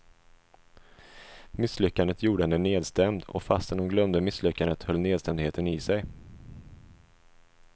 Misslyckandet gjorde henne nedstämd, och fastän hon glömde misslyckandet höll nedstämdheten i sig.